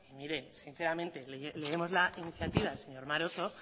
mire sinceramente leemos la iniciativa del señor maroto